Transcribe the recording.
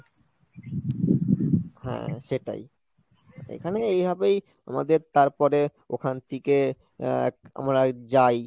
হ্যাঁ সেটাই, এখানে এইভাবেই আমাদের তারপরে ওখান থেকে আহ এক আমরা যাই,